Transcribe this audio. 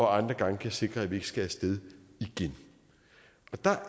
andre gange kan sikre at vi ikke skal af sted igen der